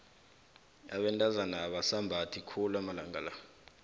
abentazana abasambathi khulu amalanga la